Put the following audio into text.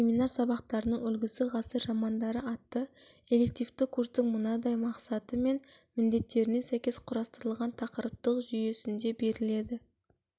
семинар сабақтарының үлгісі ғасыр романдары атты элективті курстың мынадай мақсаты мен міндеттеріне сәйкес құрастырылған тақырыптық жүйесінде беріледі